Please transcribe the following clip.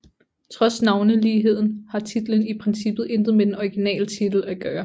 Trods navneligheden har titlen i princippet intet med den originale titel at gøre